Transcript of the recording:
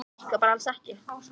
Eru þær dottnar upp fyrir?